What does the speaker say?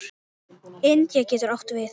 Indiana getur átt við